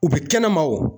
U bɛ kɛnɛma o